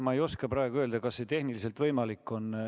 Ma ei oska praegu öelda, kas see on tehniliselt võimalik.